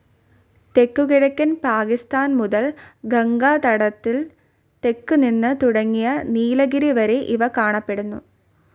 തെക്കുകിഴക്കൻ പാകിസ്ഥാൻ മുതൽ ഗംഗാതടത്തിന് തെക്കു നിന്ന് തുടങ്ങി നീലഗിരി വരെ ഇവ കാണപ്പെടുന്നു.